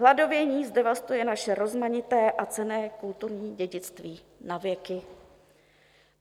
Hladovění zdevastuje naše rozmanité a cenné kulturní dědictví na věky.